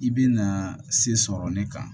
I bi na se sɔrɔ ne kan